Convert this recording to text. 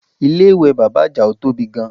Ilé ìwẹ̀ bàbá Àjàó tóbi gan